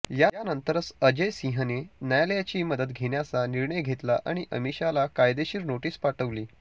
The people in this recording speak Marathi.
यानंतरच अजय सिंहने न्यायालयाची मदत घेण्याचा निर्णय घेतला आणि अमिषाला कायदेशीर नोटीस पाठवली